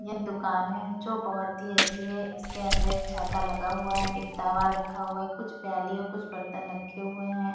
यह दुकान हैजो बोहोत ही अच्छी है इसके अंदर एक छाता लगा हुआ है एक तावा रखा हुआ है कुछ प्याली और कुछ बर्तन रखे हुए हैं।